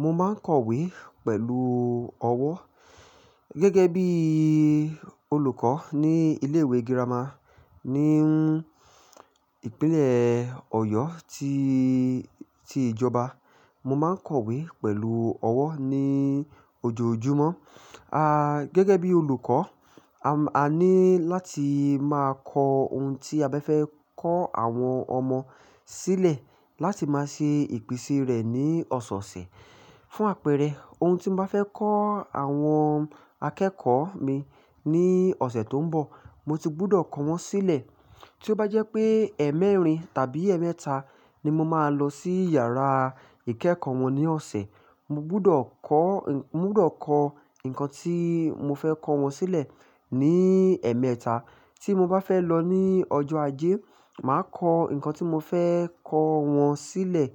Mo máa ń kọ̀wé pẹ̀lú ọwọ́ gẹ́gẹ́ bí olùkọ́ ní ilé ìwé girama ní ń ìpínlẹ̀ Ọ̀yọ́ tí, tí ìjọba. Mo máa ń kọ̀wé pẹ̀lú ọwọ́ ní ojoojúmọ́. A-- gẹ́gẹ́ bí olùkọ́, a, a ní láti máa kọ ohun tí a bá fẹ́ kọ́ àwọn ọmọ sílẹ̀ láti máa ṣe ìpín sí rẹ̀ ní ọ̀sẹ̀ẹ̀sẹ̀. Fún àpẹẹrẹ, ohun tí mo bá fẹ́ kọ́ àwọn akẹ́kọ̀ọ́ mi ní ọ̀sẹ̀ tó ń bọ̀, mo ti gbúdọ̀ kọ wọ́n sílẹ̀. Tí ó bá jẹ́ pé ẹ́ẹ̀mẹ́rin tàbí ẹ̀ẹ̀mẹ́ta ni mo máa lọ sí yàrá ìkẹ́kọ̀ọ́ wọn ní ọ̀sẹ̀, mo gbúdọ̀ kọ́, mo gbúdọ̀ kọ nǹkan tí mo fẹ́ kọ wọn sílẹ̀ ní ẹ̀ẹ̀mẹ́ta. Tí mo bá fẹ́ lọ ní ọjọ́ ajé, màá kọ nǹkan tí mo fẹ́ kọ wọn sílẹ̀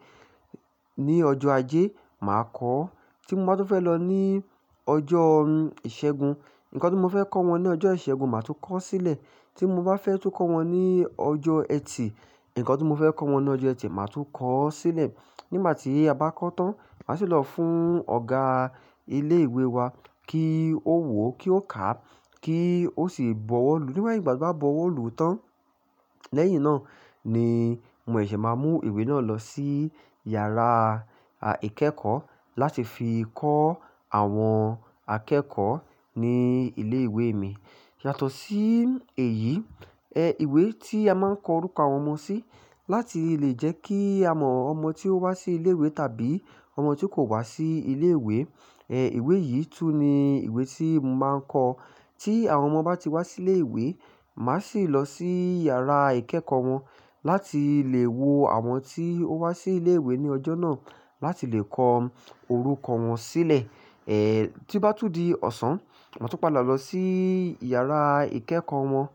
ní ọjọ́ ajé, màá kọ ó. Tí mo bá tún fẹ́ lọ ní ọjọ́ ìṣẹ́gun, nǹkan tí mo fẹ́ kọ́ wọn ní ọjọ́ ìṣẹ́gun, màá tún kọ ọ́ sílẹ̀. Tí mo bá fẹ́ tún kọ́ wọn ní ọjọ́ ẹtì, nǹkan tí mo fẹ́ kọ́ wọn ní ọjọ́ ẹtì, màá tún kọ ọ́ sílẹ̀. Nígbà tí a bá kọ tán, màá sì lọ fún ọ̀gá ilé ìwé wa kí ó wò ó, kí ó kà á, kí ó sì bọwọ́ lu. Nígbà tí ó bá bọwọ́ lu tán, lẹ́yìn náà ni mo ṣì máa mú ìwé náà lọ sí yàrá à ìkẹ́kọ̀ọ́ láti fi kọ́ àwọn akẹ́kọ̀ọ́ ní ilé ìwé mi. Yàtọ̀ sí èyí, ẹ ìwé tí a máa ń kọ orúkọ àwọn ọmọ sí láti lè jẹ́ kí a mọ ọmọ tí ó wá sí ilé ìwé tàbí ọmọ tí kò wá sí ilé ìwé, ẹ ìwé yìí tún ni ìwé tí mo máa ń kọ. Tí àwọn ọmọ bá ti wá sí ilé ìwé, màá sì lọ sí yàrá ìkẹ́kọ̀ọ́ wọn láti lè wo àwọn tí ó wá sí ilé ìwé ní ọjọ́ náà láti lè kọ orúkọ wọn sílẹ̀. Ẹ tí bá tún di ọ̀sán, màá tún padà lọ sí yàrá ìkẹ́kọ̀ọ́ wọn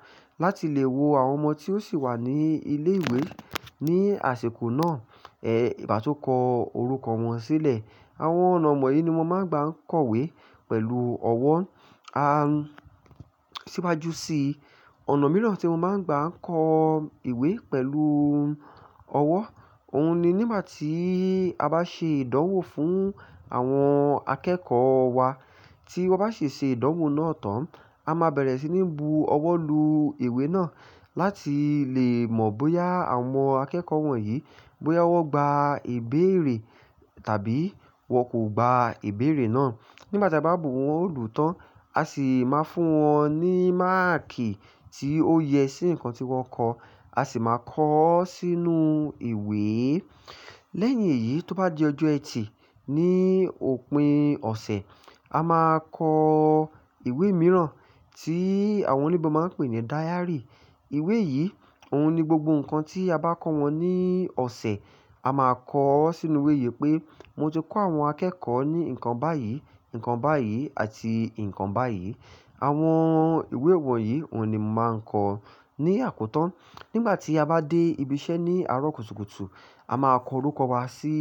láti lè wo àwọn ọmọ tí ó ṣì wà ní ilé ìwé ní àsèkù náà, ẹ ìbá tú kọ orúkọ wọn sílẹ̀. Àwọn ọ̀nà mọ yìí ni mo máa ń gba kọ̀wé pẹ̀lú ọwọ́. A-- síwájú sí ọ̀nà mìíràn tí mo máa ń gba kọ ìwé pẹ̀lú ọwọ́, òun ni nígbà tí a bá ṣe ìdánwò fún àwọn akẹ́kọ̀ọ́ wa. Tí wọ́n bá ṣe ṣe ìdánwò náà tán, a máa bẹ̀rẹ̀ sí ní bu ọwọ́ lu ìwé náà láti lè mọ̀ bóyá àwọn akẹ́kọ̀ọ́ wọ̀nyí, bóyá wọ́n gba ìbéèrè tàbí wọ́n kò gba ìbéèrè náà. Nígbà tí a bá bu wọn òòlù tán, a sì máa fún wọn ní máàkì tí ó yẹ sí nǹkan tí wọ́n kọ̀, a sì máa kọ ọ́ sínú ìwé. Lẹ́yìn èyí, tó bá di ọjọ́ ẹtì ní òpin ọ̀sẹ̀, a máa kọ ìwé mìíràn tí àwọn olùgbà máa ń pè ní dáyárì. Ìwé yìí, òun ni gbogbo nǹkan tí a bá kọ́ wọn ní ọ̀sẹ̀, a máa kọ ọ́ sínú ìwé yìí pé, "Mo ti kọ àwọn akẹ́kọ̀ọ́ ní nǹkan báyìí, nǹkan báyìí àti nǹkan báyìí." Àwọn ìwé wọ̀nyí, òun ni mo màá ń kọ ní àkótó. Nígbà tí a bá dé ibi iṣẹ́ ní àárọ̀ kùtùkùtù, a máa kọ orúkọ wa sí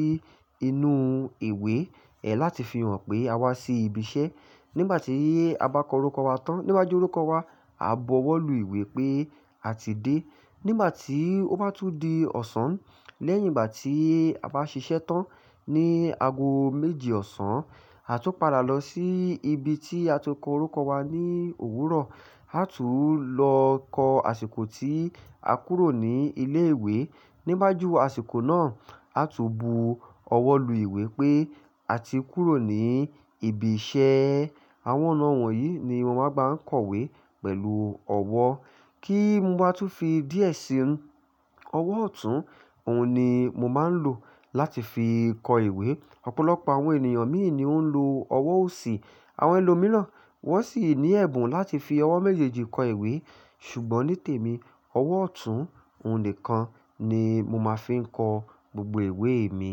inú ìwé, ẹ láti fi hàn pé a wá sí ibi iṣẹ́. Nígbà tí a bá kọ orúkọ wa tán, níwaju orúkọ wa, a bọ ọwọ́ lu ìwé pé a ti dé. Nígbà tí ó bá tún di ọ̀sán, lẹ́yìn ìgbà tí a bá ṣiṣẹ́ tán ní ago méje ọ̀sán, a tún padà lọ sí ibi tí a ti kọ orúkọ wa ní òwúrọ̀, a tún lọ kọ àsìkò tí a kúrò ní ilé ìwé. Níwaju àsìkò náà, a tún bu ọwọ́ lu ìwé pé a ti kúrò ní ibi iṣẹ́. Àwọn ọ̀nà wọ̀nyí ni mo máa ń gba kọ̀wé pẹ̀lú ọwọ́. Kí n mo bá tún fi díẹ̀ sí inú, ọwọ́ ọ̀tún, òun ni mo máa ń lò láti fi kọ ìwé. Ọ̀pọ̀lọpọ̀ àwọn ènìyàn míì ni ó ń lo ọwọ́ òsì. Àwọn ẹlòmíràn, wọ́n sì ní ẹ̀bùn láti fi ọwọ́ méjèèjì kọ ìwé. Ṣùgbọ́n ní tèmi, ọwọ́ ọ̀tún òun nìkan ni mo máa fi ń kọ gbogbo ìwé mi.